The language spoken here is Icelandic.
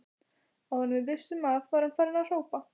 Áður en við vissum af var hann farinn að hrópa